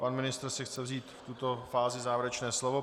Pan ministr si chce vzít v této fázi závěrečné slovo.